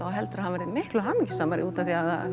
og heldur að hann verði miklu hamingjusamari útaf því að